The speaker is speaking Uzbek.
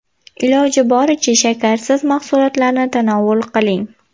Iloji boricha shakarsiz mahsulotlarni tanovul qiling.